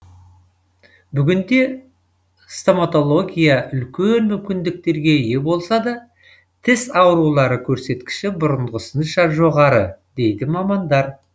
бүгінде стоматология үлкен мүмкіндіктерге ие болса да тіс аурулары көрсеткіші бұрынғысынша жоғары дейді мамандар